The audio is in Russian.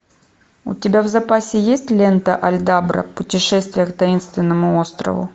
у тебя в запасе есть лента альдабра путешествие к таинственному острову